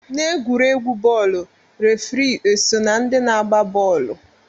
N'egwuregwu bọọlụ, refri eso na ndị na-agba bọọlụ?